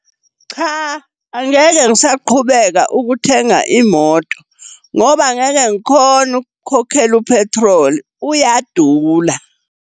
Cha, angeke ngisaqhubeka ukuthenga imoto ngoba angeke ngikhone ukukhokhela u-petrol, uyadula.